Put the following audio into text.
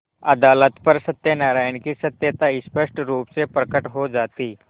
अदालत पर सत्यनारायण की सत्यता स्पष्ट रुप से प्रकट हो जाती